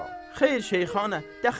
Xeyr, Şeyxana, dəxi yox.